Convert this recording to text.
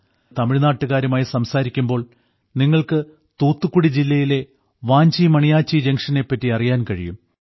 നിങ്ങൾ തമിഴ്നാട്ടുകാരുമായി സംസാരിക്കുമ്പോൾ നിങ്ങൾക്കു തൂത്തുക്കുടി ജില്ലയിലെ വാഞ്ചി മണിയാച്ചി ജംഗ്ഷനെപ്പറ്റി അറിയാൻ കഴിയും